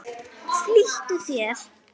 Konan skellti upp úr.